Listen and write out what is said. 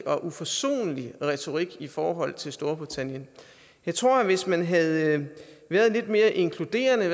og uforsonlig retorik i forhold til storbritannien jeg tror at hvis man havde været mere inkluderende